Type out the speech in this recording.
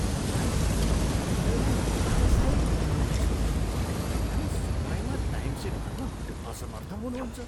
तपाईँहरू आफैँलाई व्यावसायिक भन्नुहुन्छ तैपनि समयमा टाइमसिट भर्न असमर्थ हुनुहुन्छ।